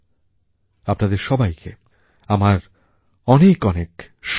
আপনাদের সবাইকে আমার অনেক অনেক শুভেচ্ছা